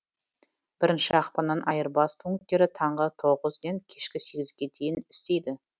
бірінші ақпаннан айырбас пунктері таңғы тоғызден кешкі сегізге дейін істейді